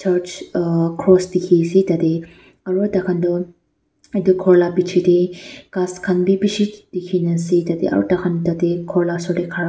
cross tiki ase tate aro takan tho yete kor la biji dae kas kan bi bishi tiki na ase tate aro tai kan tate kor la osor dae khara.